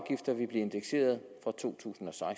indeksere fra to tusind og